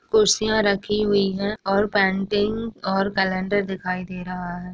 कुर्सियां रखी हुई हैं और पेंटिंग और कैलेंडर दिखाई दे रहा है।